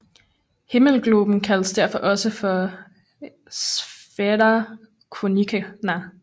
Himmelgloben kaldes derfor også for Sphaera Copernicana